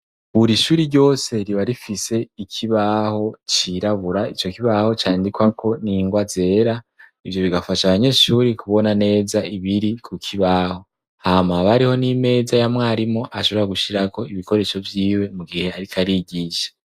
Buri ishuri ryose riba rifise ikibaho cirabura. ico kibaho candikwa ko ningwa zera ivyo bigafasha abanyeshuri kubona neza ibiri ku kibaho hama haba hariho n'imeza ya mwarimu ashobora gushyira ko ibikoresho byiwe mu gihe arik’arigisha.